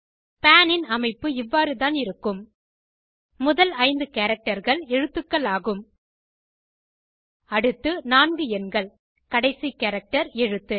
பான் ன் அமைப்பு இவ்வாறுதான் இருக்கும் முதல் ஐந்து characterகள் எழுத்தக்கள் ஆகும் அடுத்து நான்கு எண்கள் கடைசி கேரக்டர் எழுத்து